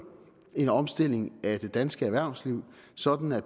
en omstilling af det danske erhvervsliv sådan at